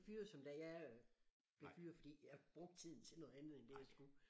Fyret som da jeg blev fyret fordi jeg brugte tiden til noget andet end det jeg skulle